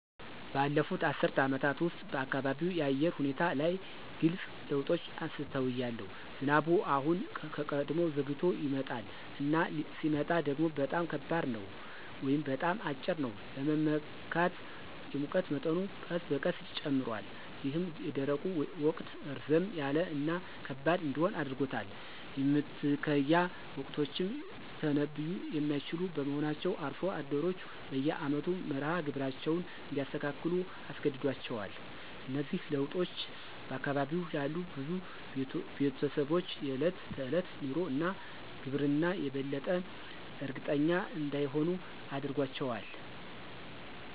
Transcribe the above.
ባለፉት አስርት ዓመታት ውስጥ፣ በአካባቢው የአየር ሁኔታ ላይ ግልጽ ለውጦችን አስተውያለሁ። ዝናቡ አሁን ከቀድሞው ዘግይቶ ይመጣል፣ እና ሲመጣ ደግሞ በጣም ከባድ ነው ወይም በጣም አጭር ነው ለመመካት። የሙቀት መጠኑ ቀስ በቀስ ጨምሯል, ይህም የደረቁ ወቅት ረዘም ያለ እና ከባድ እንዲሆን አድርጎታል. የመትከያ ወቅቶችም ሊተነብዩ የማይችሉ በመሆናቸው አርሶ አደሮች በየአመቱ መርሃ ግብራቸውን እንዲያስተካክሉ አስገድዷቸዋል. እነዚህ ለውጦች በአካባቢው ላሉ ብዙ ቤተሰቦች የዕለት ተዕለት ኑሮ እና ግብርና የበለጠ እርግጠኛ እንዳይሆኑ አድርጓቸዋል።